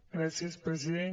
gràcies president